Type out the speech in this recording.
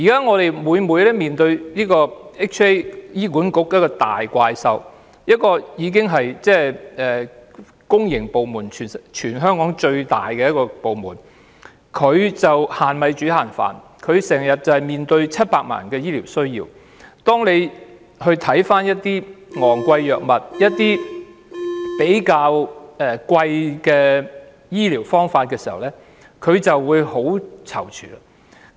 我們現時經常要面對醫管局這頭大怪獸，它是全香港最大的公營部門，但現時卻要"限米煮限飯"，因為它需要面對700萬人的醫療需要，每當看到一些昂貴藥物或醫療方法，它便會很躊躇。